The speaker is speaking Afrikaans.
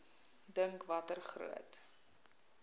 dink watter groot